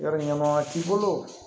Yɔrɔ ɲama t'i bolo